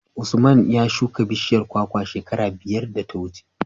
Usman ya shuka bishiyar kwakwa shekara biyar da ta wuce.